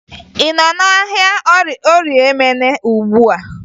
Ị nọ n'ahịa Orie Emene ugbua?